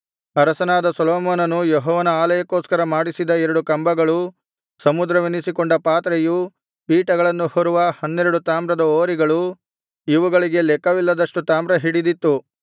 ಅರಸನಾದ ಸೊಲೊಮೋನನು ಯೆಹೋವನ ಆಲಯಕ್ಕೋಸ್ಕರ ಮಾಡಿಸಿದ ಎರಡು ಕಂಬಗಳು ಸಮುದ್ರವೆನಿಸಿಕೊಂಡ ಪಾತ್ರೆಯು ಪೀಠಗಳನ್ನು ಹೊರುವ ಹನ್ನೆರಡು ತಾಮ್ರದ ಹೋರಿಗಳು ಇವುಗಳಿಗೆ ಲೆಕ್ಕವಿಲ್ಲದಷ್ಟು ತಾಮ್ರ ಹಿಡಿದಿತ್ತು